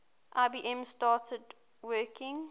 ibm started working